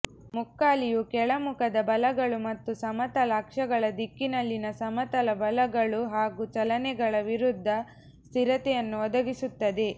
ಮುಕ್ಕಾಲಿಯು ಕೆಳಮುಖದ ಬಲಗಳು ಮತ್ತು ಸಮತಲ ಅಕ್ಷಗಳ ದಿಕ್ಕಿನಲ್ಲಿನ ಸಮತಲ ಬಲಗಳು ಹಾಗೂ ಚಲನೆಗಳ ವಿರುದ್ಧ ಸ್ಥಿರತೆಯನ್ನು ಒದಗಿಸುತ್ತದೆ